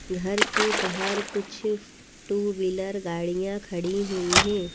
घर के बाहर कुछ टू व्हीलर गाड़ियां खड़ी हुई हैं।